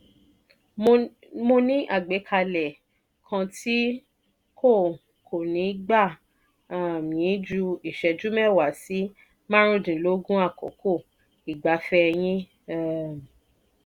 mọ ní àgbékalẹ̀ kan tí kò kò ní gbà um yin jù ní ìṣẹ́jú mẹ́wa sí márundínlógún àkókò ìgbafẹ́ yin' um